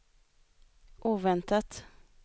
oväntat